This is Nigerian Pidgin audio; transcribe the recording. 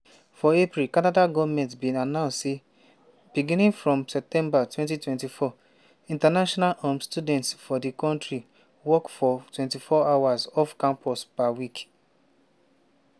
for april canada goment bin announce say beginning for september 2024 international um students for di kontri work for 24 hours off campus per week.